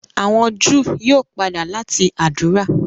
àwọn Júù yíò pàdà lati ádùrá.